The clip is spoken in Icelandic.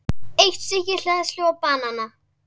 Eitt stykki hleðslu og banana.